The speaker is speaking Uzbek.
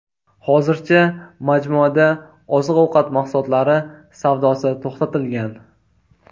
Hozircha majmuada oziq-ovqat mahsulotlari savdosi to‘xtatilgan.